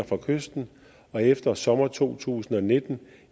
fra kysten og efter sommeren to tusind og nitten